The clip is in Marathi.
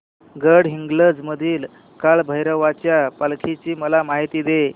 गडहिंग्लज मधील काळभैरवाच्या पालखीची मला माहिती दे